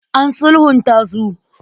An sulhunta su.